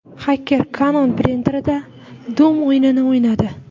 Xaker Canon printerida Doom o‘yinini o‘ynadi.